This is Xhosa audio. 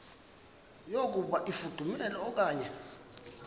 yokuba ifudumele okanye